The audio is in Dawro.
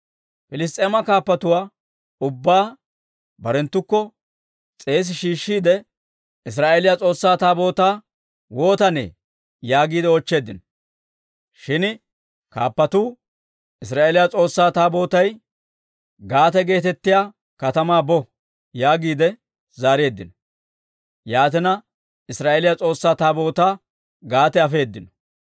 Piliss's'eema kaappatuwaa ubbaa barenttukko s'eesi shiishshiide, «Israa'eeliyaa S'oossaa Taabootaa waatanee?» yaagiide oochcheeddino. Shin kaappatuu, «Israa'eeliyaa S'oossaa Taabootay Gaate geetettiyaa katamaa bo» yaagiide zaareeddino. Yaatina, Israa'eeliyaa S'oossaa Taabootaa Gaate afeedino.